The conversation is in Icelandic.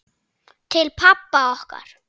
Til pabba okkar.